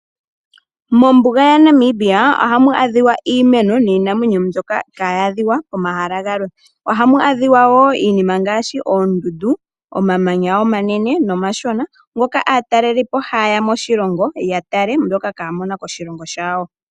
Mombuga ya Namibia ohamu adhika iimeno niinamwenyo mbyoka kayi adhika pomahala galwe. Ohamu adhika wo iinima ngaashi oondundu, omamanya omanene nomashona. Ngoka aatalelipo haye ya moshilongo ya tale mbyoka kaya mona koshilongo shawo.